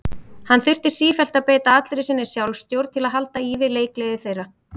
Hann þurfti sífellt að beita allri sinni sjálfstjórn til að halda í við leikgleði þeirra.